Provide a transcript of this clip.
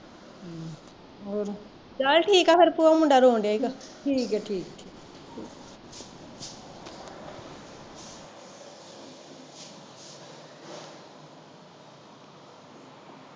ਚੱਲ ਠੀਕ ਐ ਫਿਰ ਭੂਆ ਮੁੰਡਾ ਰੋਣ ਡਿਆ ਈ ਗਾ